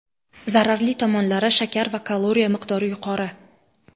Zararli tomonlari Shakar va kaloriya miqdori yuqori.